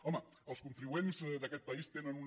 home els contribuents d’aquest país tenen una